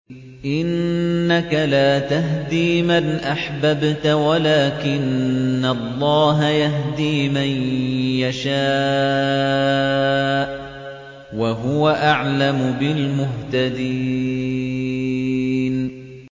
إِنَّكَ لَا تَهْدِي مَنْ أَحْبَبْتَ وَلَٰكِنَّ اللَّهَ يَهْدِي مَن يَشَاءُ ۚ وَهُوَ أَعْلَمُ بِالْمُهْتَدِينَ